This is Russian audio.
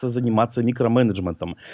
то заниматься микроменеджментом